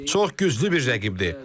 Çox güclü bir rəqibdir.